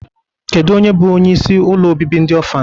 Kedu onye bụ onyeisi ụlọ obibi ndị ọfan?